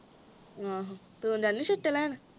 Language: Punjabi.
ਆਹੋ ਤੂੰ ਜਾਨੀ ਛੁਟੇ ਲੈਣ